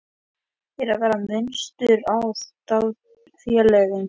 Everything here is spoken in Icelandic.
Er verið að mismuna aðildarfélögum?